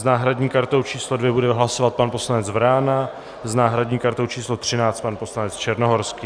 S náhradní kartou číslo 2 bude hlasovat pan poslanec Vrána, s náhradní kartou číslo 13 pan poslanec Černohorský.